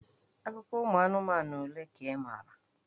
Akụkọ anụmanụ ole ka ị maara?